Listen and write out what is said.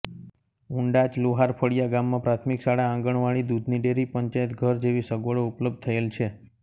ઉંડાચ લુહારફળીયા ગામમાં પ્રાથમિક શાળા આંગણવાડી દુધની ડેરી પંચાયતઘર જેવી સગવડો ઉપલબ્ધ થયેલ છે